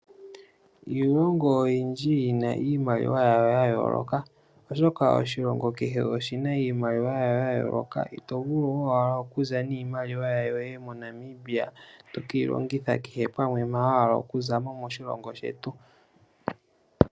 Iilongo oyindji oyina iimaliwa yayo ya yooloka, oshoka oshilongo kehe oshina iimaliwa yasho ya yooloka. Ito vulu owala okuza niimaliwa yoye moNamibia to keyi longitha kehe pamwe mpa wa hala, oku zamo moshilongo shetu.